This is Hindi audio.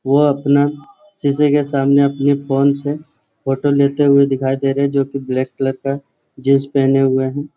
वह अपना सीसे के सामने अपने फोन से फोटो लेते हुए दिखाई दे रहे है जो की ब्लैक कलर का जीन्स पहने हुए है।